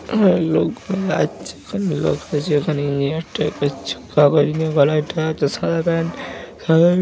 এখানে লোকটা যে এখানে ইঞ্জিনিয়ার টাইপের সাদা প্যান্ট সাদা--